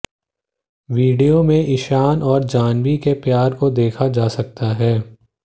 video में ईशान और जाह्नवी के प्यार को देखा जा सकता है